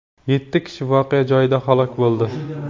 Yetti kishi voqea joyida halok bo‘ldi.